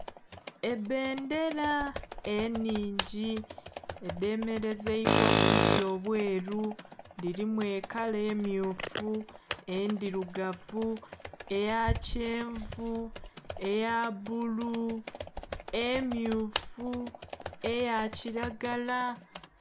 Ebbendhera enhingi edhe melezeibwa ku buti obweru dhilimu ekala emyufu, endhirugavu, eya kyenvu, eya bbulu, emyufu, eya kilagala